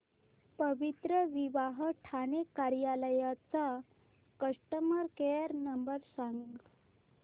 पवित्रविवाह ठाणे कार्यालय चा customer care number सांग